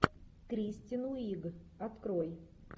кристен уиг открой